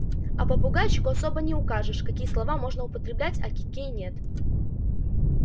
а попугайчику особо не укажешь какие слова можно употреблять а какие нет